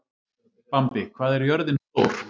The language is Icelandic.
Bambi, hvað er jörðin stór?